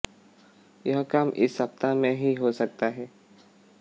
यह काम इस सप्ताह में ही हो सकता है